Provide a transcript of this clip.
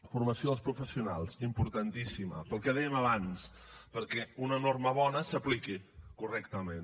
formació dels professionals importantíssima pel que dèiem abans perquè una norma bona s’apliqui correctament